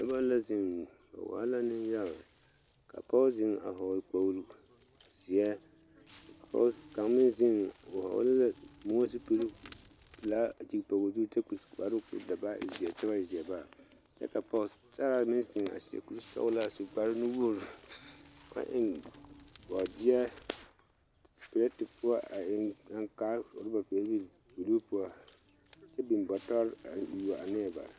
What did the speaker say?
noba la zeŋ ba waa la nenyaga ka pɔge zeŋ a vɔgele kpogle zeɛ kaŋ meŋ zeŋ o vɔgele la moɔ zupili kyɛ zu kpar zeɛ ka pɔge meŋ seɛ kuri sɔgelaa a eŋ boma bɔtɔre poɔ